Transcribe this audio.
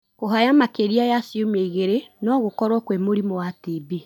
Kuhaya makĩria ya ciumia igĩrĩ no gũkorwo kwĩ mũrimũ wa TB.